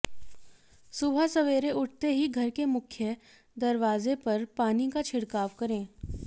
सुबह सवेरे उठते ही घर के मुख्य दरवाजे पर पानी का छिड़काव करें